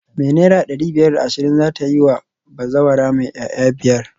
Me naira dari biyar da ashirin zata yiwa bazawara mai 'ya'ya biyar?